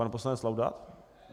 Pan poslanec Laudát?